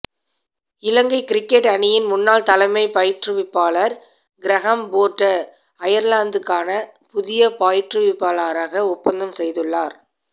இலங்கை cricket அணியின் முன்னாள் தலைமைப் பயிற்றுவிப்பாளர் க்ரஹம் ஃபோர்ட அயர்லாந்துக்கான புதிய பயிற்றுவிப்பாளராக ஒப்பந்தம் செய்துள்ளார்